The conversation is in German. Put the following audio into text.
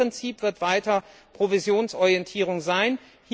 Das Grundprinzip wird weiter Provisionsorientierung sein.